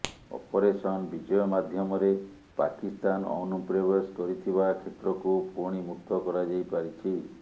operation Vijay ମାଧ୍ୟମରେ ପାକିସ୍ଥାନ ଅନୁପ୍ରବେଶ କରିଥିବା କ୍ଷେତ୍ରକୁ ପୁଣି ମୁକ୍ତ କରାଯାଇ ପାରିଛି